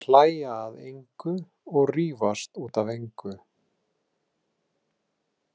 Þær hlæja að engu og rífast út af engu.